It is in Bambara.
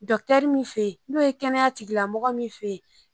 mun fe yen , n'o ye kɛnɛya tigila mɔgɔ min fe yen.